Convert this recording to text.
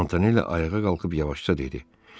Montanelli ayağa qalxıb yavaşca dedi: